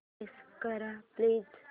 launch कर please